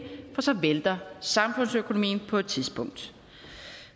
for så vælter samfundsøkonomien på et tidspunkt